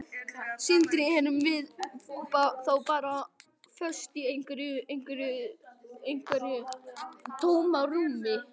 Sindri: Erum við þá bara föst í einhverju, einhverju tómarúmi?